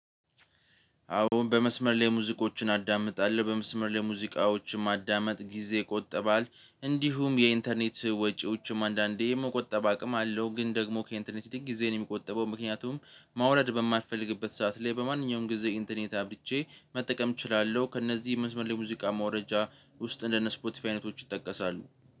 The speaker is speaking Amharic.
አሁን በመስመር ላይ ሙዚቆችን አዳምጣለሁ በመስመር ላይ ሙዚቃዎችን ማዳመጥ ጊዜ ይቆጠባል እንዲሁም የኢንተርኔት ወጪዎችም አንዳንዴ የመቆጠብ አቅም አለው። ግን ደግሞ ከኢንተርኔት ጥቂት ጊዜን የሚቆጠበው ምክንያቱም ማውረድ በማትፈልግበት ሰዓት ላይ በማንኛውም ጊዜ ኢንተርኔት አብርቼ መጠቀም እችላለሁ። ከእነዚህ መስመር ሙዚቃ መውረጃ ውስጥ እንደነ ስፖቲፋይ አይነቶች ይጠቀሳሉ